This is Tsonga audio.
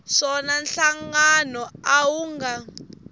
swona nhlangano a wu nga